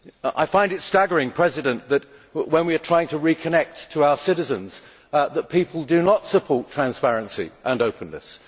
I find it staggering that, when we are trying to reconnect to our citizens, people do not support transparency and openness.